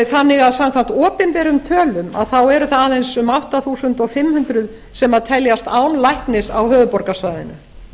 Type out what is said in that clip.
þannig að samkvæmt opinberum tölum eru það aðeins um átta þúsund fimm hundruð sem teljast án læknis á höfuðborgarsvæðinu